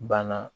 Banna